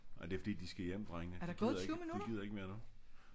Nej det er fordi de skal hjem drengene de de gider ikke mere nu